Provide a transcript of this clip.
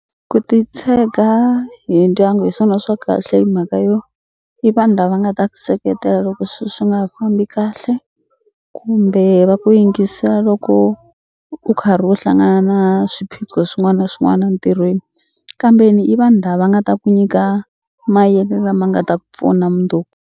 Ku titshega hi ndyangu hi swona swa kahle hi mhaka yo i vanhu lava nga ta ku seketela loko swi swi nga ha fambi kahle kumbe va ku yingisa loko u karhi u hlangana na swiphiqo swin'wana swin'wana ntirhweni kambe ni i vanhu lava nga ta ku nyika lama nga ta ku pfuna .